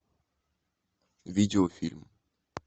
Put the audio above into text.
видеофильм